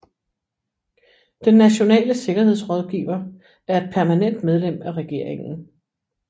Den nationale sikkerhedsrådgiver er et permanent medlem af regeringen